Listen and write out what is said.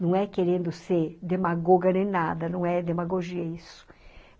Não é querendo ser demagoga nem nada, não é demagogia isso.